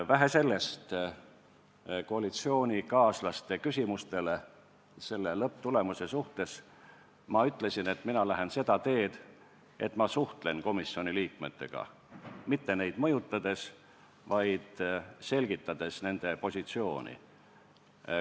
Vähe sellest, koalitsioonikaaslaste küsimustele selle lõpptulemuse kohta ütlesin ma, et mina lähen seda teed, et ma suhtlen komisjoni liikmetega, mitte neid mõjutades, vaid selgitades nende positsiooni.